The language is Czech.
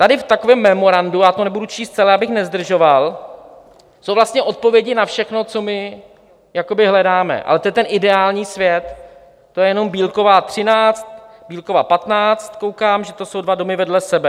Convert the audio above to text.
Tady v takovém memorandu - já to nebudu číst celé, abych nezdržoval - jsou vlastně odpovědi na všechno, co my hledáme, ale to je ten ideální svět, to je jenom Bílkova 13, Bílkova 15, koukám, že to jsou dva domy vedle sebe.